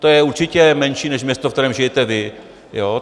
To je určitě menší než město, ve kterém žijete vy.